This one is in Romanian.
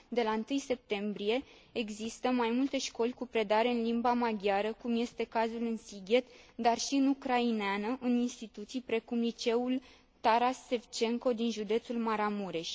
De la 1 septembrie există mai multe școli cu predare în limba maghiară, cum este cazul în Sighet, dar și în ucraineană, în instituții precum liceul Taras Sevcenco din județul Maramureș.